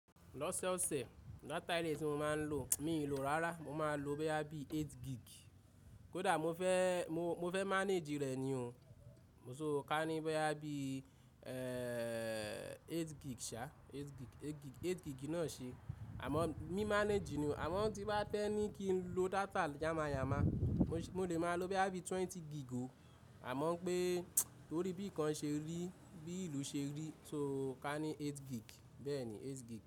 Lọ́sọ̀ọ̀sẹ̀ data ẹtí tí mo máa ń lò mi ò lò rárá, mo máa ń lo bóyá bí eight gig. Kódà mo fẹ́, mo fẹ́ manage rẹ̀ ni o. So ka ní báyìí bí ẹ̀ẹ̀ eight gig ṣá, eight gig, eight gig, eight gig náà ṣe. Àmọ́ mi manage ni o. Àmọ́ tí bá tẹ́ ni kí n lo data yámayàma, mo lè máa lo bóyá twenty gig o. Àmọ́ pé torí bí i kan ṣe rí, bí ìlú ṣe rí, so ka ní eight gig, bẹ́ẹ̀ ni eight gig.